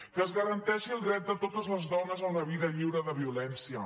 que es garanteixi el dret de totes les dones a una vida lliure de violència